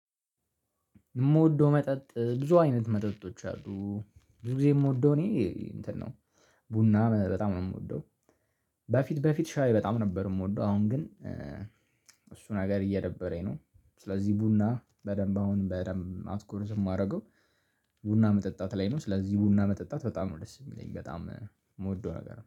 የምወደው መጠጥ ብዙ አይነት መጠጦች አሉ ብዙ ጊዜ የምወደው እኔ እንትን ነው ቡና በጣም ነው የምወደው። በፊት በፊት ሻይ በጣም ነበር የምወደው አሁን ግን እሱ ነገር እየደበረኝ ነው። ስለዚህ ቡና በደንብ አሁን በደንብ አትኩሮት የማደርገው። ቡና መጠጣት ላይ ነው ስለዚህ ቡና መጠጣት በጣም ነው ደስ የሚለኝ በጣም የምወደው ነገር